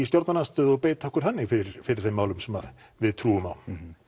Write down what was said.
stjórnarandstöðu og beita okkur þannig fyrir fyrir þeim málefnum sem að við trúum á